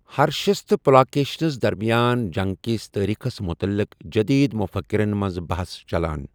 ہرشس تہٕ پُلاکیشنس درمِیان جنگ کِس تٲریخس مُتعلق جدید مُفکرن منز بحث چلان ۔